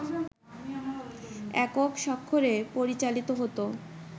একক স্বাক্ষরে পরিচালিত হত